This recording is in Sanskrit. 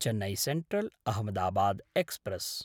चेन्नै सेन्ट्रल्–अहमदाबाद् एक्स्प्रेस्